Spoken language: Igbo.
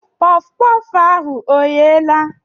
Kpọf kpọf ahụ ọ gheela?